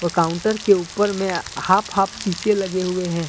Counter के ऊपर में हाफ हाफ शीशे लगे हुए हैं।